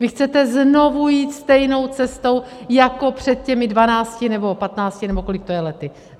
Vy chcete znovu jít stejnou cestou jako před těmi dvanácti, nebo patnácti nebo kolik to je lety.